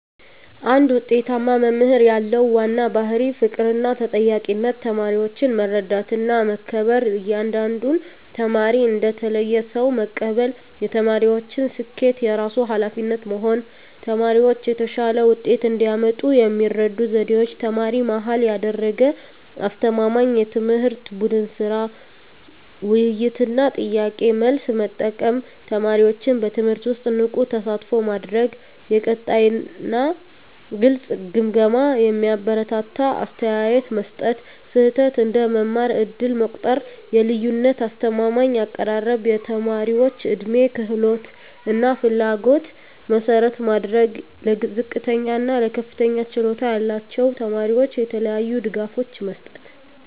አንድ ውጤታማ መምህር ያለው ዋና ባሕርይ ፍቅርና ተጠያቂነት ተማሪዎችን መረዳትና መከበር እያንዳንዱን ተማሪ እንደ ተለየ ሰው መቀበል የተማሪዎችን ስኬት የራሱ ኃላፊነት መሆን ተማሪዎች የተሻለ ውጤት እንዲያመጡ የሚረዱ ዘዴዎች ተማሪ-መሃል ያደረገ አስተማማኝ ትምህርት ቡድን ሥራ፣ ውይይት እና ጥያቄ–መልስ መጠቀም ተማሪዎችን በትምህርቱ ውስጥ ንቁ ተሳትፎ ማድረግ የቀጣይ እና ግልጽ ግምገማ የሚያበረታታ አስተያየት መስጠት ስህተት እንደ መማር ዕድል መቆጠር የልዩነት አስተማማኝ አቀራረብ የተማሪዎች ዕድሜ፣ ክህሎት እና ፍላጎት መሠረት ማድረግ ለዝቅተኛ እና ለከፍተኛ ችሎታ ያላቸው ተማሪዎች የተለያዩ ድጋፎች መስጠት